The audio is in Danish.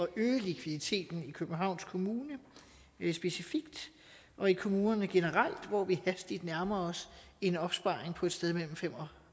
øge likviditeten i københavns kommune specifikt og i kommunerne generelt hvor vi hastigt nærmer os en opsparing på et sted mellem fem og